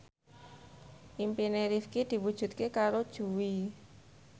impine Rifqi diwujudke karo Jui